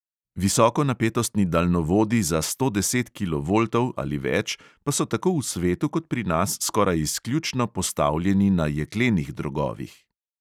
Visokonapetostni daljnovodi za sto deset kilovoltov ali več pa so tako v svetu kot pri nas skoraj izključno postavljeni na jeklenih drogovih.